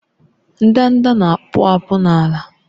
Ndanda na-akpụ akpụ n'ala